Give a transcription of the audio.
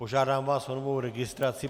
Požádám vás o novou registraci.